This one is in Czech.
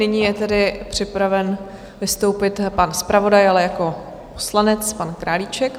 Nyní je tedy připraven vystoupit pan zpravodaj, ale jako poslanec, pan Králíček.